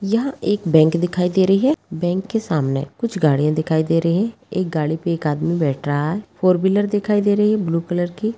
यहाँ पे एक बैंक दिखाई दे रही है बैंक के सामने कुछ गाड़िया दिखाई दे रही है एक गाडी पे एक आदमी बैठ रहा फोर व्हीलर दिख रहा --